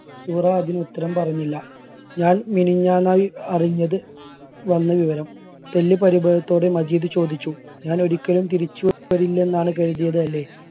സുഹറ അതിന് ഉത്തരം പറഞ്ഞില്ല. ഞാൻ മിനിങ്ങാന്നായി അറിഞ്ഞത് വന്ന വിവരം തെല്ല് പരിഭവത്തോടെ മജീദ് ചോദിച്ചു ഞാനൊരിക്കലും തിരിച്ചു വ~വരില്ലന്നാണ് കരുതിയത് അല്ലേ?